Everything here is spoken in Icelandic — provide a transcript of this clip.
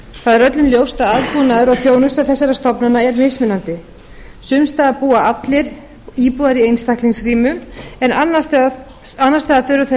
það er öllum ljóst að aðbúnaður og þjónusta þessara stofnana er mismunandi sums staðar búa allir íbúar í einstaklingsrýmum en annars staðar þurfa þeir